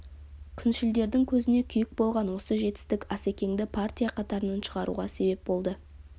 күншілдердің көзіне күйік болған осы жетістік асекеңді партия қатарынан шығаруға себеп болды